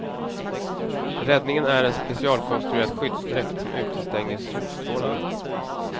Räddningen är en specialkonstruerad skyddsdräkt, som utestänger solstrålarna.